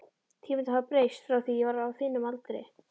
Tímarnir hafa breyst frá því ég var á þínum aldri.